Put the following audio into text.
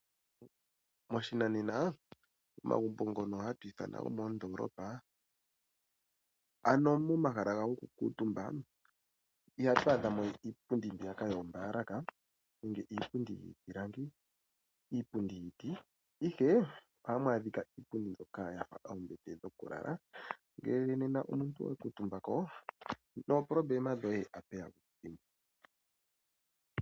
Moshinanena omagumbo ngono hatu ithana gomoondoolopa, momahala gago gokukuutumba ihatu adha mo iipundi mbiyaka yoombaalaka, iipundi yiiti, ihe ohamu adhika iipundi mbyoka ya fa oombete dhokulala. Ngele omuntu owa kuutumbako, nomaupyakadhi goye otashi vulika wu ga dhimbwe.